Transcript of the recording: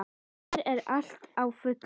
Hér er allt á fullu.